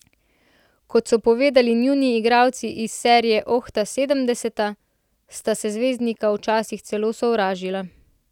Kot so povedali njuni soigralci iz serije Oh, ta sedemdeseta, sta se zvezdnika včasih celo sovražila.